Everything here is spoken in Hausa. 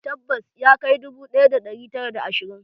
Tabbas, ya kai dubu ɗaya da ɗari tara da ashirin